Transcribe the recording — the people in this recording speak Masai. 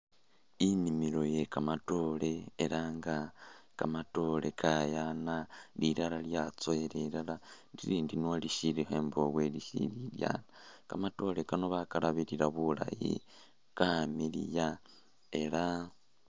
Inimilo yekamatore elanga kamatore kayana lilala lyatsowela elele lindi niwo lishilikho imbwobo lishili ilyana kamatore kano bakalabilila bulayi kamiliya ela